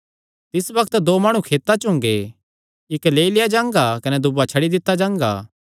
तिस बग्त दो माणु खेतां च हुंगे इक्क लेई लेआ जांगा कने दूआ छड्डी दित्ता जांगा